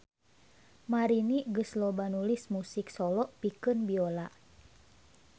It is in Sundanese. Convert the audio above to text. Marini geus loba nulis musik solo pikeun biola.